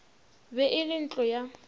be e le ntlo ya